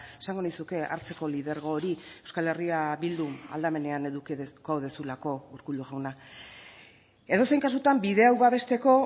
esango nizuke hartzeko lidergo hori euskal herria bildu aldamenean edukiko duzulako urkullu jauna edozein kasutan bide hau babesteko